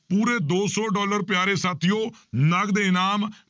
ਪੂਰੇ ਦੋ ਸੌ ਡਾਲਰ ਪਿਆਰੇ ਸਾਥੀਓ ਨਗਦ ਇਨਾਮ